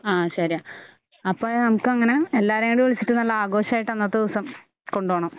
ആ ശരിയാ. അപ്പോ നമുക്ക് അങ്ങനെ എല്ലാവരെയും കൂടെ വിളിച്ചിട്ട് നല്ല ആഘോഷമായിട്ട് അന്നത്തെ ദിവസം കൊണ്ടുപോണം